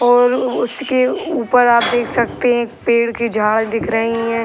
और उसके ऊपर आप देख सकते हैं एक पेड़ की झाड़ दिख रही है।